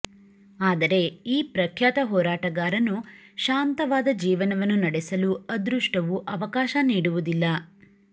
ಆದರೆ ಈ ಪ್ರಖ್ಯಾತ ಹೋರಾಟಗಾರನು ಶಾಂತವಾದ ಜೀವನವನ್ನು ನಡೆಸಲು ಅದೃಷ್ಟವು ಅವಕಾಶ ನೀಡುವುದಿಲ್ಲ